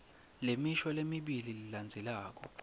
lemisho lemibili lelandzelako